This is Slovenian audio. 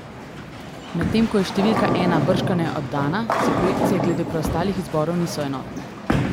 Medtem ko je številka ena bržkone oddana, si projekcije glede preostalih izborov niso enotne.